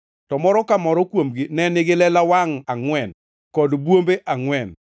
to moro ka moro kuomgi ne nigi lela wangʼ angʼwen, kod bwombe angʼwen.